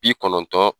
Bi kɔnɔntɔn